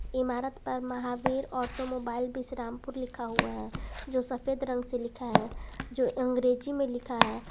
इमारत पर महावीर ऑटोमोबाइल विश्रामपुर लिखा हुआ है जो सफेद रंग से लिखा है जो अंग्रेजी में लिखा है।